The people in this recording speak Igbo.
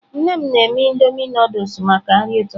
Nne m na-eme Indomie Nụdụls maka nri ụtụtụ.